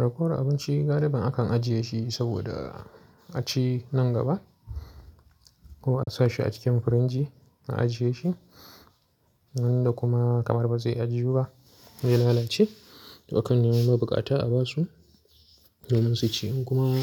Rako abinci, galibin akan ajiye shi saboda a ci nan gaba ko a sa shi a cikin firinji a ajiye shi. Nan da kuma kamar ba zai ajiye ba zai lalace, to akan nemo ma bukata a ba su domin su ci. In kuma